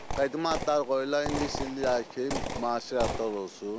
Qədima adlar qoyurlar, indi dillər ki, müasir adlar olsun.